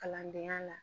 Kalandenya la